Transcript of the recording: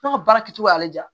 Ne ka baara kɛcogoya y'ale diya